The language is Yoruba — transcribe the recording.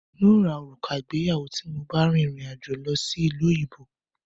N ó ra òrùka ìgbéyàwó tí mo bá rìn rìn àjò lọ sí ìlú òyìnbó